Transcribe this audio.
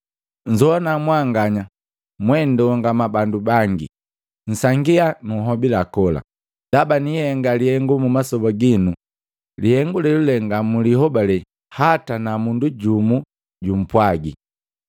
‘Nzogwana mwanganya mwendongama bandu bangi, Nsangia nunhobila kola! Ndaba niihenga lihengu mumasoba ginu, lihengu lelule nga mulihobale hata na mundu jumpwagi.’ ”